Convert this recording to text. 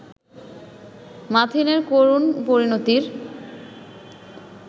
মাথিনের করুণ পরিণতির